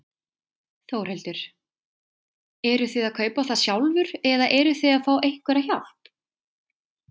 Þórhildur: Eruð þið að kaupa það sjálfur eða eruð þið að fá einhverja hjálp?